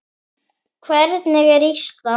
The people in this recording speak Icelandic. Hvernig er Ísland?